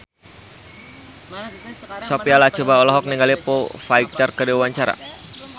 Sophia Latjuba olohok ningali Foo Fighter keur diwawancara